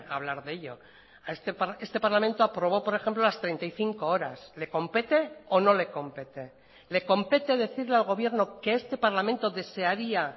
hablar de ello este parlamento aprobó por ejemplo las treinta y cinco horas le compete o no le compete le compete decirle al gobierno que este parlamento desearía